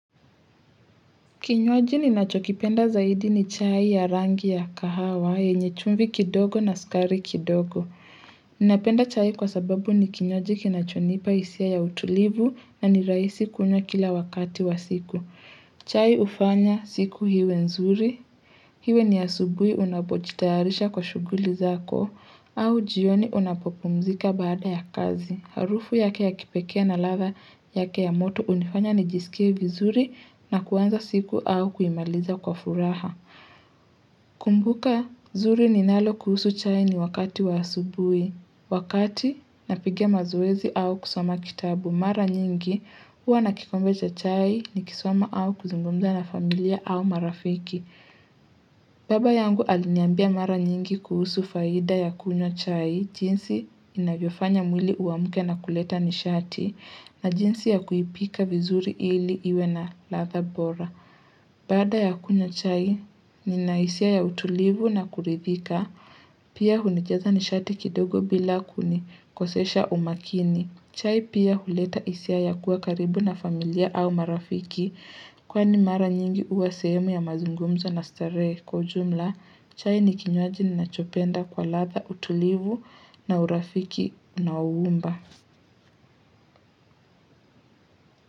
Kinywaji ninachokipenda zaidi ni chai ya rangi ya kahawa yenye chumvi kidogo na sukari kidogo. Ninapenda chai kwa sababu ni kinywaji kinachonipa isia ya utulivu na niraisi kunywa kila wakati wa siku. Chai ufanya siku hiwe nzuri. Hiwe ni asubui unapojitaharisha kwa shuguli zako au jioni unapopumzika baada ya kazi. Harufu yake ya kipekee na ladha yake ya moto unifanya ni jisikie vizuri na kuanza siku au kuimaliza kwa furaha. Kumbuka, zuri ninalo kuhusu chai ni wakati wa asubui. Wakati, napiga mazoezi au kusoma kitabu. Mara nyingi, huwa nakikombe cha chai ni kisoma au kuzungumza na familia au marafiki. Baba yangu aliniambia mara nyingi kuhusu faida ya kunywa chai. Jinsi inavyofanya mwili uamke na kuleta nishati na jinsi ya kuipika vizuri ili iwe na ladha bora. Baada ya kunywa chai ni na isia ya utulivu na kuridhika, pia hunijaza nishati kidogo bila kuni kosesha umakini. Chai pia huleta isia ya kuwa karibu na familia au marafiki. Kwa ni mara nyingi uwa sehemu ya mazungumzo na starehe kwa ujumla, chai ni kinywaji ni nachopenda kwa ladha, utulivu na urafiki na uumba.